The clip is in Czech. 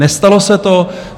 Nestalo se to.